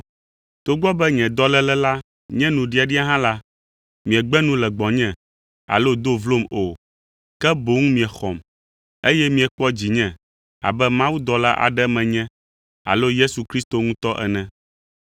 Togbɔ be nye dɔléle la nye nuɖiaɖia hã la, miegbe nu le gbɔnye alo do vlom o, ke boŋ miexɔm, eye miekpɔ dzinye abe mawudɔla aɖe menye alo Yesu Kristo ŋutɔ ene.